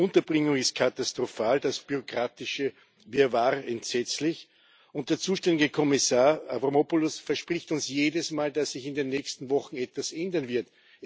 Die Unterbringung ist katastrophal, das bürokratische Wirrwarr entsetzlich, und der zuständige Kommissar Avramopoulos verspricht uns jedes Mal, dass sich in den nächsten Wochen etwas ändern wird.